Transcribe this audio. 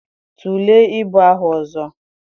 Tulee ibu ahụ ọzọ.